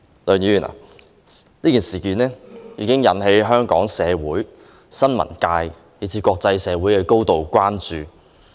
此事已經引起香港社會、新聞界以至國際社會的高度關注。